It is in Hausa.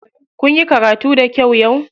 Kunyi karatu da kyau yau?